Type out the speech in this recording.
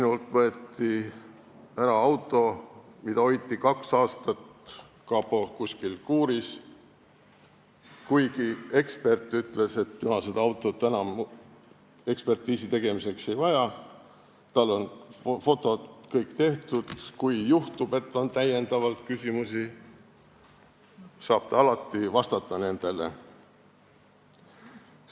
Mult võeti ära auto, mida hoiti kaks aastat kuskil kapo kuuris, kuigi ekspert ütles, et tema seda autot enam ekspertiisi tegemiseks ei vaja, tal on fotod kõik tehtud ja kui juhtub, et on lisaküsimusi, siis saab ta alati nendele vastata.